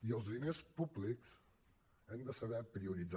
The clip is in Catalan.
i amb els diners públics hem de saber prioritzar